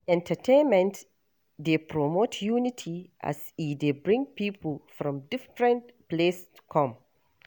Entertainment dey promote unity as e dey bring pipo from different place come.